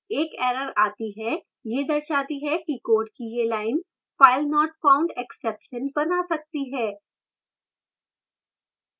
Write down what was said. एक error आती है यह दर्शाती है कि code की यह line filenotfoundexception now सकती है